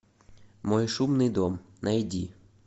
мой шумный дом найди